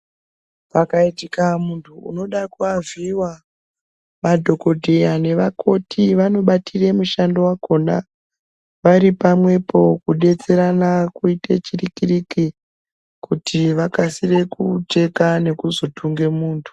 Pakaitika muntu unoda kuavhiiva madhogodheya nevakoti vanobatire mushando vakona varipamwepo kubetserana kuite chiriki-riki. Kuti vakasire kucheka nekuzotunge muntu.